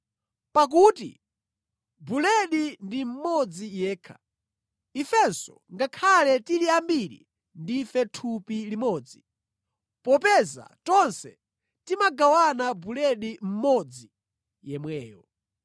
Pakuti buledi ndi mmodzi yekha, ifenso ngakhale tili ambiri, ndife thupi limodzi, popeza tonse timagawana buledi mmodzi yemweyo.